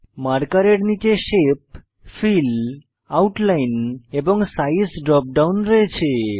মার্কের এর নীচে শেপ ফিল আউটলাইন এবং সাইজ ড্রপ ডাউন রয়েছে